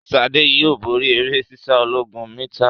Sade yóò bóri eré sísá ọlọ́gọ̀rún mítà.